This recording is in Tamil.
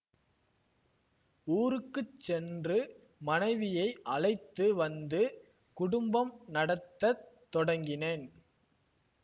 ஊருக்கு சென்று மனைவியை அழைத்து வந்து குடும்பம் நடத்த தொடங்கினேன்